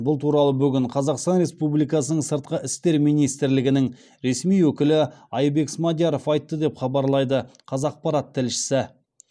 бұл туралы бүгін қазақстан республикасының сыртқы істер министрлігінің ресми өкілі айбек смадияров айтты деп хабарлайды қазақпарат тілшісі